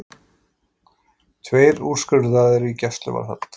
Tveir úrskurðaðir í gæsluvarðhald